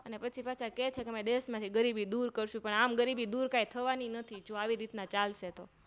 પછી પાછા કે છેકે અમારા દેશમાંથી ગરીબી દૂર કરશું પણ આમ ગરીબી દૂર કાય થવાની નથી જો આવી રીતના ચાલશે તો